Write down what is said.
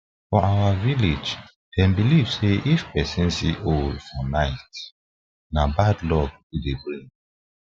for our village them believe say if persin see owl for night na bad luck e bad luck e dey bring